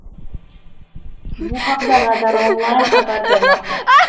Bu haqda Radar Online xabar bermoqda .